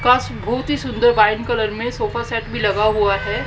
काश बहुत ही सुंदर वाइन कलर में सोफा सेट भी लगा हुआ है।